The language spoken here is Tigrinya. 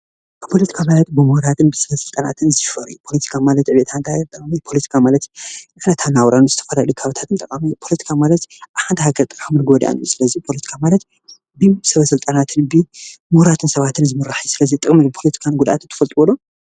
ፖለቲካ ማለት ብምሁራትን ብሰበስልጣናትን ዝሽፈር እዩ፡፡ ፖለቲካ ማለት ኣብ ሓንቲ ሃገር ጠቓምን ጎዳእን እዩ፡፡ ስለዚ ፖለቲካ ማለት ብሰበስልጣናትን ብምሁራትን ሰባትን ዝምራሕ እዩ:: ጥቕምን ጉድኣትን ፖለቲካ ትፈልጥዎ ዶ?